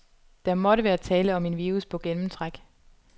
Der måtte være tale om en virus på gennemtræk.